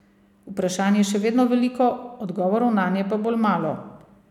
Vprašanj je še vedno veliko, odgovorov nanje pa bolj malo.